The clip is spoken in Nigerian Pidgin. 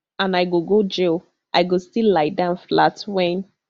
and i go jail i go still lie down flat wen